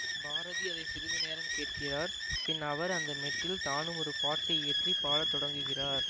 பாரதி அதை சிறிது நேரம் கேட்கிறார் பின் அவர் அந்த மெட்டில் தானும் ஒரு பாட்டு இயற்றிப் பாட தொடங்குகிறார்